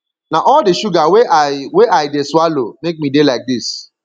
na all the sugar wey i wey i dey swallow make me dey like dis